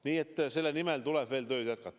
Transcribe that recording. Nii et lahenduse nimel tuleb veel tööd jätkata.